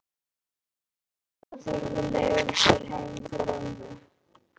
Edda tekur leigubíl heim til mömmu.